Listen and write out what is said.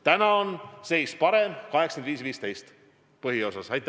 Praegu on seis hea, suhe on põhiosas 85 : 15.